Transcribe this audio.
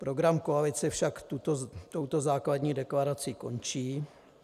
Program koalice však touto základní deklarací končí.